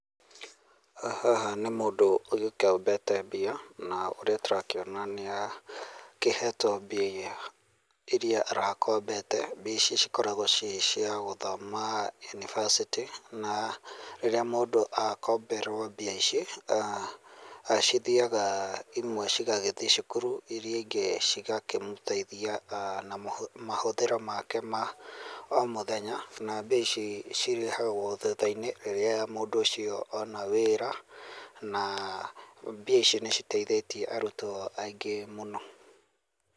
Haha nĩ mũndũ ũgĩkombete mbia na ũrĩa tũrakĩona nĩ akĩhetwo mbia iria arakombete ici cikoragwo ciĩ cia gũthoma yunibacĩtĩ na rĩrĩa mũndũ akomberwo mbia ici ah cithiaga, imwe cigagĩthiĩ cukuru iria ingĩ cigakĩmũteithia aah na mahũthĩro make ma o mũthenya na mbia icio cirĩhagwo thutha-inĩ rĩrĩa mũndũ ũcio ona wĩra na mbia icio nĩ citeithĩtie arutwo aingĩ mũno